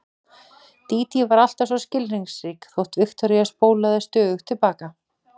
Dídí var alltaf svo skilningsrík þótt Viktoría spólaði stöðugt til baka.